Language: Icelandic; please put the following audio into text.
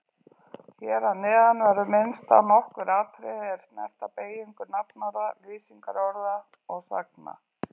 Hér að neðan verður minnst á nokkur atriði er snerta beygingu nafnorða, lýsingarorða og sagna.